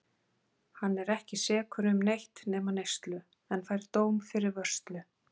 Hann er ekki sekur um neitt nema neyslu, en fær dóm fyrir vörslu.